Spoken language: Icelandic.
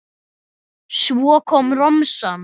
Svo kom romsan.